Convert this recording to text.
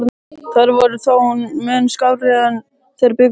Þær voru þó mun skárri en þeir bjuggust við.